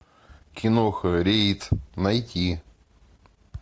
киноха рейд найти